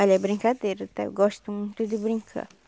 Olha, é brincadeira, tá, eu gosto muito de brincar.